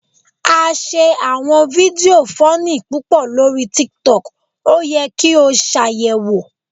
A ṣe awọn fidio funny pupọ lori tiktok, o yẹ ki o ṣayẹwopp